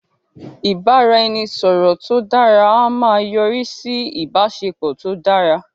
ibaraẹnisọrọ tó dara a máa yọrisi sí ìbáṣepọ̀ tó dára